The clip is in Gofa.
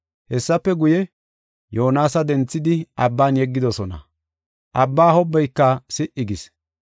Hessafe guye, Yoonasa denthidi, abban yeggidosona. Abbaa hobbayka si77i gis.